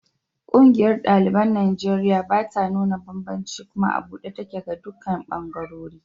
Ƙungiyar ɗaliban Najeriya bata nuna banbanci kuma a buɗe take ga dukkan ɓangarori.